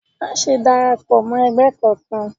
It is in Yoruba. Maṣe dárápọ mọ ẹgbẹ kánkan!